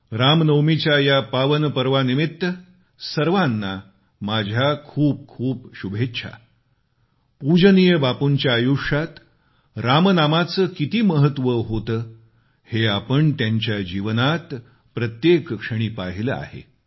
रामनवमीच्या या पावन पर्वानिमित्त सर्वांना माझ्या खूप खूप शुभेच्छा पूजनीय बापूंच्या आयुष्यात राम नामाचे किती महत्त्व होते हे आपण त्यांच्या जीवनात प्रत्येक क्षणी पहिले आहे